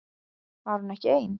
Var hún ekki ein?